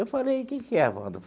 Eu falei, que que é, agora?